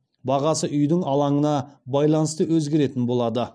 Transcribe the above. бағасы үйдің алаңына байланысты өзгеретін болады